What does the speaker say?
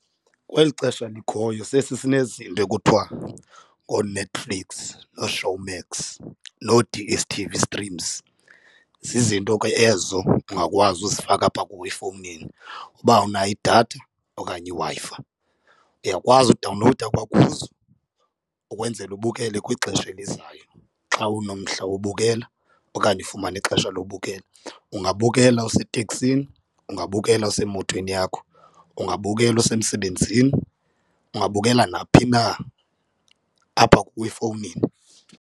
Kweli xesha likhoyo sesisinezinto ekuthiwa ngooNetflix nooShowmax noo-D_S_T_V streams, zizinto ke ezo ungakwazi uzifaka apha kuwe efowunini uba unayo idatha okanye iWi-Fi. Ndiyakwazi udawunlowuda kwakuzo ukwenzela ubukele kwixesha elizayo xa unomdla wobukela okanye ukufumane ixesha lobukela, ungabukela useteksini, ungabukela usemotweni yakho, ungabukela usemsebenzini, ungabukela naphi na apha kuwe efowunini.